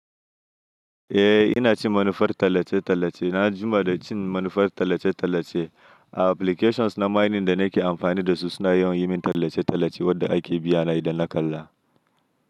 Eh ina cin manufar tallace-tallace. Na jima da cin manufar tallace-tallace. A applications na maining da nake amfani da su suna yawan yi min tallace-tallace wadda ake biya na idan na kalla.